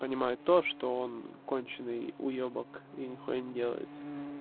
понимаю то что он конченый уёбок и ни чего не делает